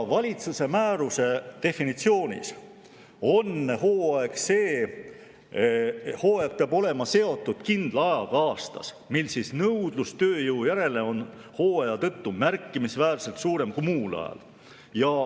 Valitsuse määruse definitsiooni järgi peab hooaeg olema seotud kindla ajaga aastas, kui nõudlus tööjõu järele on hooaja tõttu märkimisväärselt suurem kui muul ajal.